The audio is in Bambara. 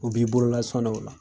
U b'i bolola sɔn de o la.